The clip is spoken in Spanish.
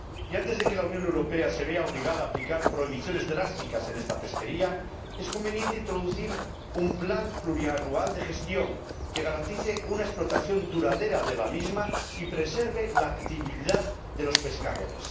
Y antes de que la Unión Europea se vea obligada a aplicar prohibiciones drásticas en esta pesquería es conveniente introducir un plan plurianual de gestión, que garantice una explotación duradera de la misma y preserve la actividad de los pescadores.